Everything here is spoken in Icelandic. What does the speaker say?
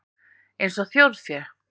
Eins og þjórfé?